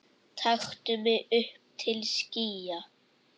taktu mig upp til skýja